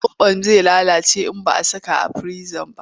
Zaɓon zai lalace idan ba a saka a firinji ba.